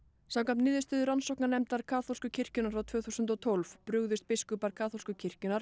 samkvæmt niðurstöðu rannsóknarnefndar kaþólsku kirkjunnar frá tvö þúsund og tólf brugðust allir biskupar kaþólsku kirkjunnar